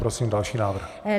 Prosím další návrh.